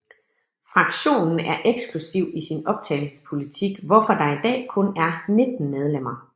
Fraktionen er eksklusiv i sin optagelsespolitik hvorfor der i dag kun er 19 medlemmer